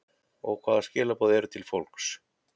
Og hvaða skilaboð eru til fólks?